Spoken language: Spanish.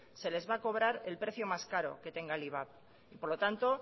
se les va a cobrar el precio más caro que tenga el iva y por lo tanto